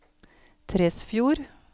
Tresfjord